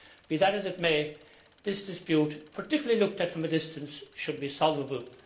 Be that as it may, this dispute particularly looked at from a distance should be solvable.